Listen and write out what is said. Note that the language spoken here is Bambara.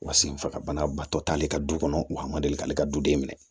Wa senfagabana batɔ t'ale ka du kɔnɔ wa a ma deli k'ale ka duden minɛ